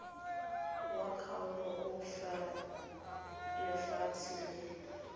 wa kgaolo o lefatshe le